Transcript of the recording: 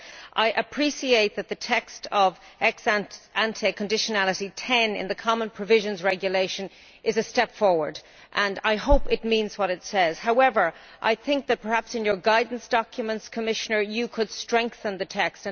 I appreciate that the text on ex ante conditionality No 10 in the Common Provisions Regulation is a step forward, and I hope it means what it says. However, perhaps in your guidance documents, Commissioner, you could strengthen the text.